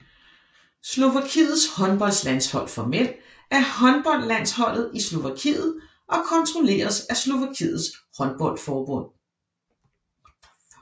Slovakiets håndboldlandshold for mænd er håndboldlandsholdet i Slovakiet og kontrolleres af Slovakiets håndboldforbund